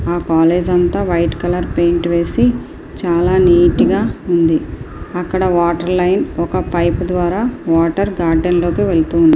ఆ కాలేజ్ అంతా white colour painting వేసి చాలా నీట్ గా ఉంది.